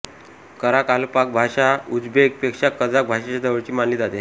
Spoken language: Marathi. कराकालपाक भाषा उझबेक पेक्षा कझाक भाषेच्या जवळची मानली जाते